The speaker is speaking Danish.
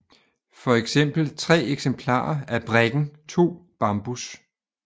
For eksempel tre eksemplarer af brikken 2 bambus